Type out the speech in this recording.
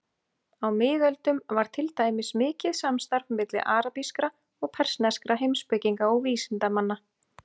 Á miðöldum var til dæmis mikið samstarf milli arabískra og persneskra heimspekinga og vísindamanna.